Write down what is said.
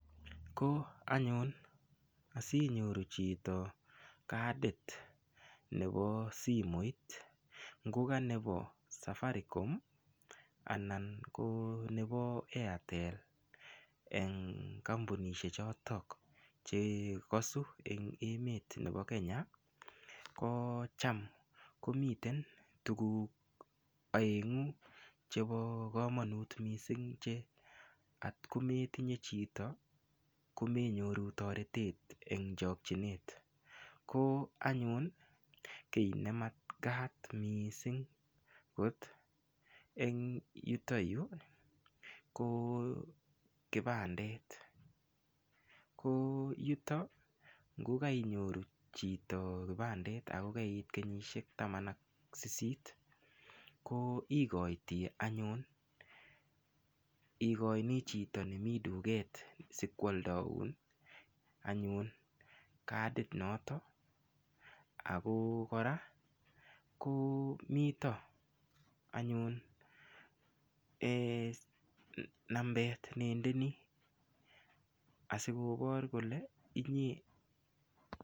Ko anyun asinyoru chito kadit nepo simoit ngo kanepo Safaricom anan ko nepo Airtel eng' kampunishek chotok chekasu eng' emet nepo Kenya ko cham komite tuguk aeng'u chepo komanut mising' che otko metinye chito komenyoru toretet eng' chakchinet ko anyun kiy ne makat mising' akot eng' yuto yu ko kipandit ko yutok ngukainyoru chito kipandit ako kait kenyisiek taman ak sisit ko ikoiti anyun ikoini chito nemii duket sikoaldoun anyun kadit notok ako koraa komito anyun nambet neindeni asikopor kole inye.